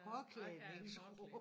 Påklædningsrum